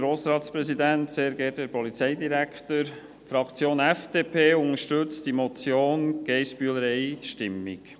Die FDP unterstützt die Motion von Grossrätin Geissbühler einstimmig.